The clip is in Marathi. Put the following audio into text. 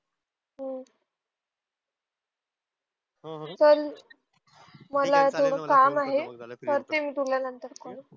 हु पण मला आता काम आहे करते मी तुला नंतर कॉल